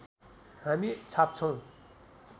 हामी छाप्छौँ